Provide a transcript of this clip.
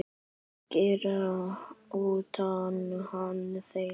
Hangir utan á þér!